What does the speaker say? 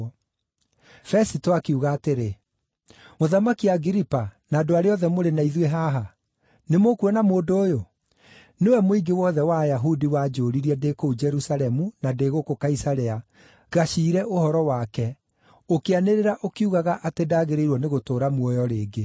Fesito akiuga atĩrĩ, “Mũthamaki Agiripa na andũ arĩa othe mũrĩ na ithuĩ haha, nĩmũkuona mũndũ ũyũ! Nĩwe mũingĩ wothe wa Ayahudi wanjũũririe, ndĩ kũu Jerusalemu na ndĩ gũkũ Kaisarea, ngaciire ũhoro wake, ũkĩanĩrĩra ũkiugaga atĩ ndagĩrĩirwo nĩgũtũũra muoyo rĩngĩ.